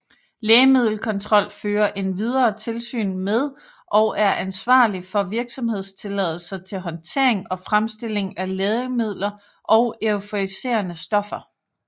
Lægemiddelkontrol fører endvidere tilsyn med og er ansvarlig for virksomhedstilladelser til håndtering og fremstilling af lægemidler og euforiserende stoffer